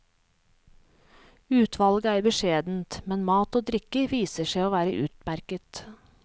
Utvalget er beskjedent, men mat og drikke viser seg å være utmerket.